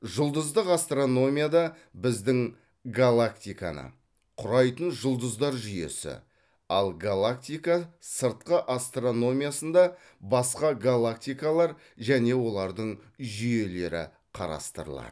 жұлдыздық астрономияда біздің галактиканы құрайтын жұлдыздар жүйесі ал галактика сырты астрономиясында басқа галактикалар және олардың жүйелері қарастырылады